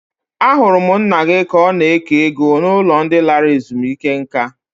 Ahụrụ m nna gị ka ọ na-eke ego n'ụlọ ndị lara ezumike nka.